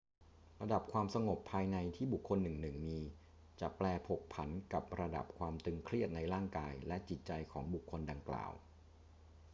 ระดับความสงบภายในที่บุคคลหนึ่งๆ มี จะแปรผกผันกับระดับความตึงเครียดในร่างกายและจิตใจของบุคคลดังกล่าว